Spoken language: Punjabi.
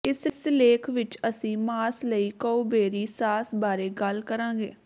ਇਸ ਲੇਖ ਵਿਚ ਅਸੀਂ ਮਾਸ ਲਈ ਕਉਬੇਰੀ ਸਾਸ ਬਾਰੇ ਗੱਲ ਕਰਾਂਗੇ